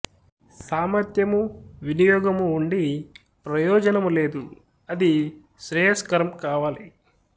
సామర్ధ్యము వినియోగము ఉండి ప్రయోజనము లేదు అది శ్రేయస్కరం కావాలి